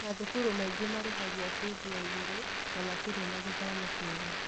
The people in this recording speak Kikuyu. Mathukuru mangĩ marĩhagia bithi ya igũrũ na matirĩ na gĩthomo kĩega.